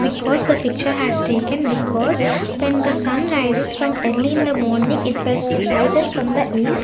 because the picture has taken because when the sun rises from early in the morning it was it rises from the east.